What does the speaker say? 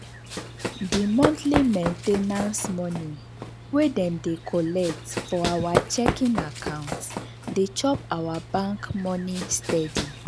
the monthly main ten ance money wey dem dey collect for our checking account dey chop our bank money steady.